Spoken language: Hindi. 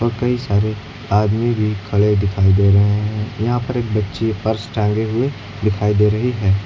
कई सारे आदमी भी खड़े दिखाई दे रहे हैं यहां पर एक बच्ची पर्स टांगे हुए दिखाई दे रही है।